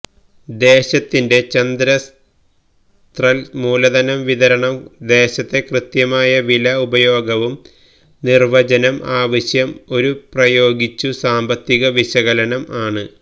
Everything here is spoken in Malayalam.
ദേശത്തിന്റെ ചദസ്ത്രല് മൂലധനം വിതരണം ദേശത്തെ കൃത്യമായ വില ഉപയോഗവും നിർവചനം ആവശ്യം ഒരു പ്രയോഗിച്ചു സാമ്പത്തിക വിശകലനം ആണ്